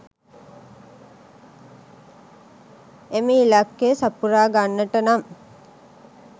එම ඉලක්කය සපුරා ගන්නට නම්